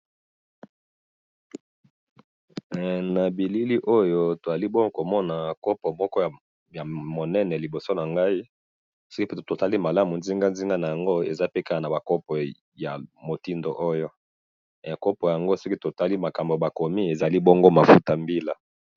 he na bilili oyo tozali bongo komona kopo moko ya munene liboso nangayi soki totali malamu nzinga nzinga nango eza pe kaka bongo ezali pe mafuta ya mbila.